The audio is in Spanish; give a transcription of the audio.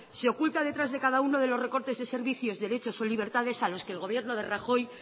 se oculta detrás de cada uno de los recortes de servicios derechos o libertades a los que el gobierno de rajoy